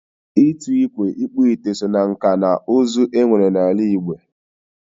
Ịtụ ikwe, Ikpu ite so na nkà na uzu e nwere na ala Igbo